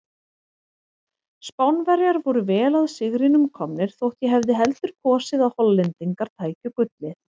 Spánverjar voru vel að sigrinum komnir þótt ég hefði heldur kosið að Hollendingar tækju gullið.